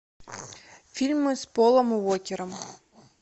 фильмы с полом уокером